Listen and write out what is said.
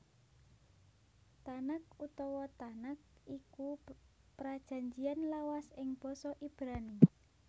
Tanakh utawa Tanak iku Prajanjian Lawas ing basa Ibrani